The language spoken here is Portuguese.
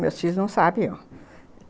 Meus filhos não sabiam.